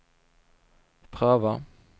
pröva